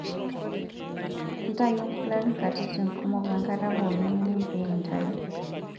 Ntayu nkulak nkatitin kumok wenkata pookin nining' pee intayu.